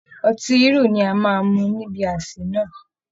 Ọtí Hírò ni a máa mu níbi àsè náà